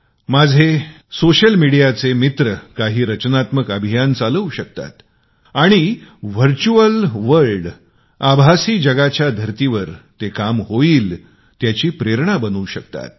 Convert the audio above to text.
माझे सोशल मिडीयाचे मित्र काही रचनात्मक अभियान चालवू शकतात आणि वास्तव जगाच्या धर्तीवर काम होईल त्याची प्रेरणा बनू शकतात